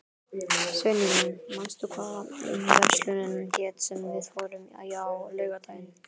Sveinrún, manstu hvað verslunin hét sem við fórum í á laugardaginn?